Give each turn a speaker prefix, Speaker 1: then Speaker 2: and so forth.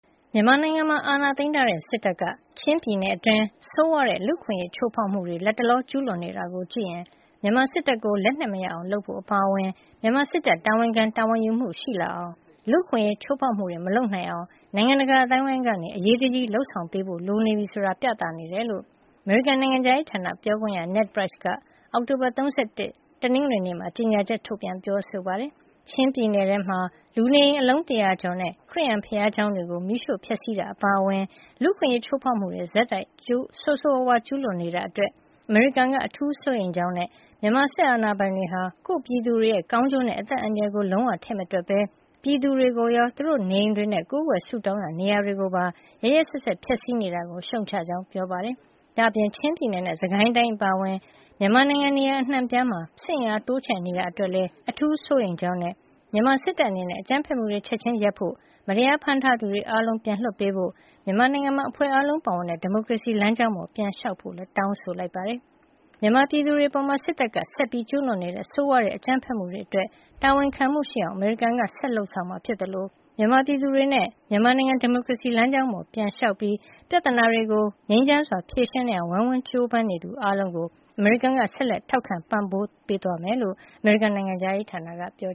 Speaker 1: မြန်မာနိုင်ငံမှာ အာဏာသိမ်းထားတဲ့ စစ်တပ်က ချင်းပြည်နယ်အတွင်း ဆိုးဝါးတဲ့ လူ့အခွင့်အရေး ချိုးဖောက်မှုတွေ လတ်တလော ကျူးလွန်နေတာကိုကြည့်ရင် မြန်မာစစ်တပ်ကို လက်နက်မရအောင်လုပ်ဖို့ အပါအဝင် မြန်မာစစ်တပ် တာဝန်ခံ တာဝန်ယူမှု ရှိလာအောင်၊ လူ့အခွင့်အရေး ချိုးဖောက်မှုတွေ မလုပ်နိုင်အောင် နိုင်ငံတကာ အသိုင်းအဝိုင်းက အရေးတကြီး လုပ်ဆောင်ပေးဖို့ လိုနေပြီဆိုတာ ပြသနေတယ်လို့ အမေရိကန် နိုင်ငံခြားရေးဌာန ပြောခွင့်ရ Ned Price က အောက်တိုဘာလ ၃၁ ရက် တနင်္ဂနွေနေ့မှာ ကြေညာချက်ထုတ်ပြန် ပြောဆိုပါတယ်။ ချင်းပြည်နယ်ထဲမှာ လူနေအိမ် အလုံး ၁၀၀ ကျော်နဲ့ ခရစ်ယာန်ဘုရားကျောင်းတွေကို မီးရှို့ပြီး ဖျက်ဆီးတာ အပါအဝင် လူ့အခွင့်အရေး ချိုးဖောက်မှုတွေ ဆက်ပြီး ဆိုးဆိုးဝါးဝါး ကျူးလွန်နေတာအတွက် အမေရိကန်က အထူးစိုးရိမ်ကြောင်းနဲ့ မြန်မာစစ်အာဏာပိုင်တွေက ကိုယ့်ပြည်သူတွေရဲ့ ကောင်းကျိုးနဲ့ အသက်အန္တရာယ်ကို လုံးဝထည့်မတွက်ဘဲ ပြည်သူတွေကိုရော သူတို့ရဲ့ နေအိမ်တွေနဲ့ ကိုးကွယ်ဆုတောင်းရာ နေရာတွေကို ရက်ရက်စက်စက် ဖျက်ဆီးနေတာကို ရှုတ်ချကြောင်း ပြောပါတယ်။ ဒါ့အပြင် ချင်းပြည်နယ်နဲ့ စစ်ကိုင်းတိုင်း အပါအဝင် မြန်မာနိုင်ငံ နေရာအနှံ့အပြားမှာ စစ်အင်အား တိုးချဲ့နေတာ အတွက်လည်း အထူးစိုးရိမ်ကြောင်းနဲ့ မြန်မာစစ်တပ်အနေနဲ့ အကြမ်းဖက်မှုတွေ ချက်ချင်းရပ်ပစ်ဖို့၊ မတရားဖမ်းဆီးထားသူတွေ အားလုံးကို ပြန်လွှတ်ပေးဖို့နဲ့ မြန်မာနိုင်ငံမှာ အဖွဲ့အားလုံး ပါဝင်တဲ့ ဒီမိုကရေစီ လမ်းကြောင်းပေါ် ပြန်လျှောက်ဖို့လည်း တောင်းဆိုလိုက်ပါတယ်။ မြန်မာပြည်သူတွေအပေါ် စစ်တပ်က ဆက်လက်ကျူးလွန်နေတဲ့ ဆိုးဝါးတဲ့ အကြမ်းဖက်မှုတွေအတွက် တာဝန်ခံမှုရှိအောင် အမေရိကန်နိုင်ငံက ဆက်လက်လုပ်ဆောင်မှာ ဖြစ်သလို မြန်မာပြည်သူတွေနဲ့ မြန်မာနိုင်ငံ ဒီမိုကရေစီလမ်းကြောင်းပေါ် ပြန်လျှောက်ပြီး ပြဿနာတွေကို ငြိမ်းချမ်းစွာ ဖြေရှင်းနိုင်အောင် ဝိုင်းဝန်းကြိုးပမ်းနေသူ အားလုံးကို အမေရိကန်က ဆက်လက်ထောက်ခံ ပံ့ပိုးသွားမှာဖြစ်ကြောင်းလည်း အမေရိကန် နိုင်ငံခြားရေးဌာနက ပြော